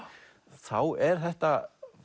þá er þetta